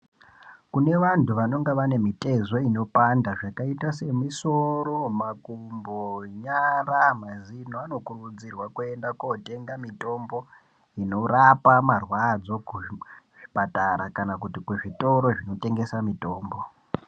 Kune vantu vanonga vane mitezo inopanda zvakaita semisoro, makumbo, nyara, mazino vanokurudzirwa kuenda kotenga mitombo inorapa marwadzo kuzvipatara kana kuti kuzvitoro zvinotengesa mitombo.